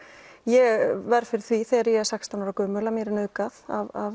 ég verð fyrir því þegar ég er sextán ára að mér er nauðgað af